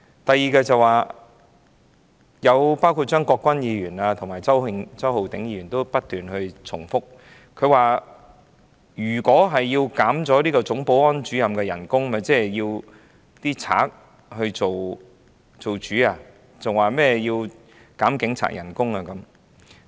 第二，張國鈞議員和周浩鼎議員不斷重複說，要削減總保安主任的薪酬，等同讓賊作主，更莫說要減警察的薪酬。